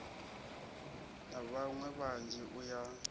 na vhaṋwe vhanzhi u ya